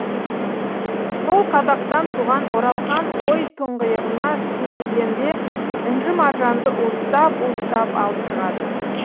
сол қазақтан туған оралхан ой тұңғиығына сүнгігенде інжу маржанды уыстап уыстап алып шығады